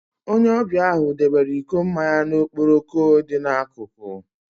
Onye ọbịa ahụ debere iko mmanya ya na okporoko dị n'akụkụ.